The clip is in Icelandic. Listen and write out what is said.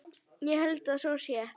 Ég held að svo sé.